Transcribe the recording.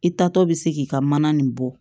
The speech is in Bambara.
I taatɔ bɛ se k'i ka mana nin bɔ